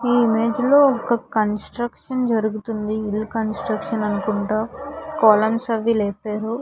ఈ ఇమేజ్ లో ఒక కన్స్ట్రక్షన్ జరుగుతుంది ఇల్లు కన్స్ట్రక్షన్ అనుకుంటా కాలమ్స్ అవి లేపారు.